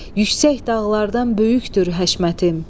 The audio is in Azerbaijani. Yüksək dağlardan böyükdür həşmətim.